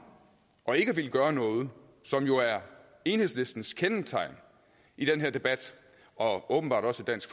og ikke ville gøre noget som jo er enhedslistens kendetegn i den her debat og åbenbart også dansk